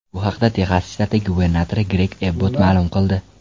Bu haqda Texas shtati gubernatori Greg Ebbot ma’lum qildi .